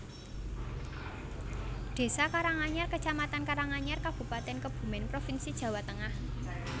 Désa Karanganyar kecamatan Karanganyar Kabupatèn Kebumèn provinsi Jawa Tengah